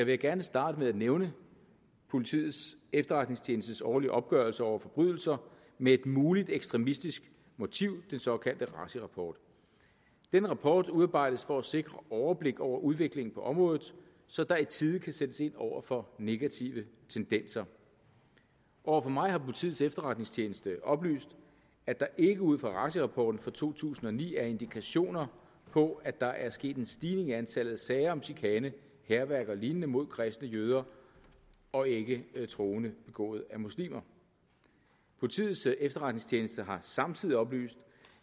jeg gerne starte med at nævne politiets efterretningstjenestes årlige opgørelse over forbrydelser med et muligt ekstremistisk motiv den såkaldte raci rapport den rapport udarbejdes for at sikre overblik over udviklingen på området så der i tide kan sættes ind over for negative tendenser over for mig har politiets efterretningstjeneste oplyst at der ikke ud fra raci rapporten for to tusind og ni er indikationer på at der er sket en stigning i antallet af sager om chikane hærværk og lignende mod kristne jøder og ikke troende begået af muslimer politiets efterretningstjeneste har samtidig oplyst